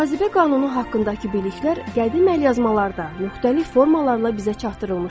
Cazibə qanunu haqqındakı biliklər qədim əlyazmalarda müxtəlif formalarla bizə çatdırılmışdı.